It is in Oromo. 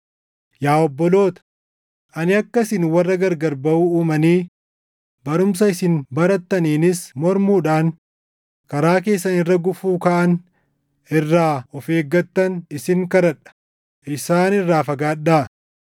Yaa obboloota, ani akka isin warra gargar baʼuu uumanii barumsa isin barattaniinis mormuudhaan karaa keessan irra gufuu kaaʼan irraa of eeggattan isin kadhadha. Isaan irraa fagaadhaa.